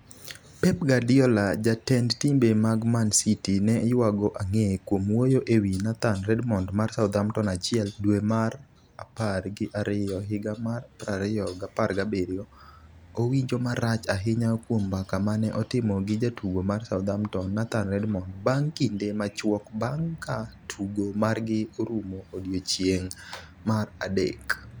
Pep Guardiola: Jatend timbe mag Man City ne yuago ang'e kuom wuoyo ewi Nathan Redmond mar Southampton 1 dwe mar apar gi ariyo higa mar 2017 owinjo marach ahinya kuom mbaka mane otimo gi jatugo mar Southampton, Nathan Redmond, bang' kinde machuok bang' ka tugo margi orumo odiechieng' mar adek.